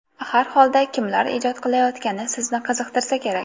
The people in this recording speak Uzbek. Har holda kimlar ijod qilayotgani sizni qiziqtirsa kerak?